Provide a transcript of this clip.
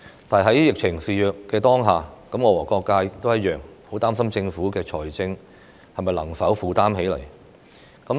但是，在疫情肆虐的當下，我和各界同樣很擔心政府在財政上能否負擔得來。